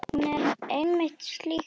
Hún er einmitt slík stelpa.